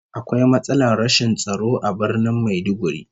Akwai matsalar rashin tsaro a Birnin Maiduguri